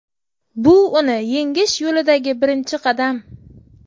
Bu uni yengish yo‘lidagi birinchi qadam.